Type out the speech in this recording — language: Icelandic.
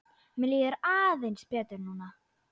Mér líður aðeins betur núna.